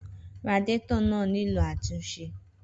Radiator náà nílò àtúnṣe.